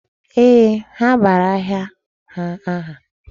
Ee, ha bara ahịa ha aha.